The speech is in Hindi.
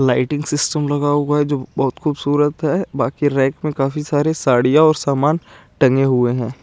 लाइटिंग सिस्टम लगा हुआ ही जो बोहोत खुबसूरत है बाकि रेक में काफी सारे सडीया और सामान टंगे हुए है।